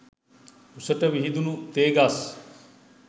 උසට විහිදුණු තේ ගස්